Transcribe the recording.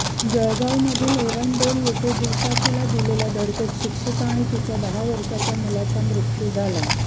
जळगावमधील एरंडोल येथे दुचाकीला दिलेल्या धडकेत शिक्षिका आणि तिच्या दहा वर्षांच्या मुलाचा मृत्यू झाला